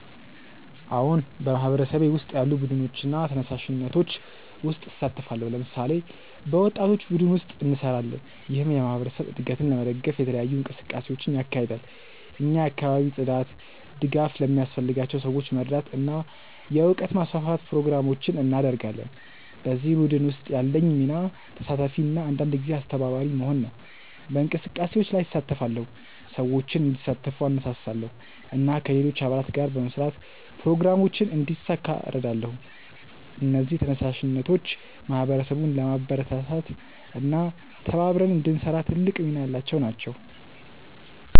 አዎን፣ በማህበረሰቤ ውስጥ ያሉ ቡድኖችና ተነሳሽነቶች ውስጥ እሳተፋለሁ። ለምሳሌ፣ በወጣቶች ቡድን ውስጥ እንሰራለን፣ ይህም የማህበረሰብ እድገትን ለመደገፍ የተለያዩ እንቅስቃሴዎችን ያካሂዳል። እኛ የአካባቢ ጽዳት፣ ድጋፍ ለሚያስፈልጋቸው ሰዎች መርዳት እና የእውቀት ማስፋፋት ፕሮግራሞችን እናደርጋለን። በዚህ ቡድን ውስጥ ያለኝ ሚና ተሳታፊ እና አንዳንድ ጊዜ አስተባባሪ መሆን ነው። በእንቅስቃሴዎች ላይ እሳተፋለሁ፣ ሰዎችን እንዲሳተፉ እነሳሳለሁ እና ከሌሎች አባላት ጋር በመስራት ፕሮግራሞችን እንዲሳካ እረዳለሁ። እነዚህ ተነሳሽነቶች ማህበረሰቡን ለማበረታታት እና ተባብረን እንድንሰራ ትልቅ ሚና ያላቸው ናቸው።